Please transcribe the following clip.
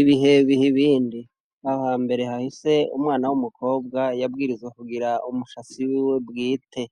Ibihebihe ibindi aha mbere hahise umwana w'umukobwa yabwirizwe kugira umushasi wiwe bwite,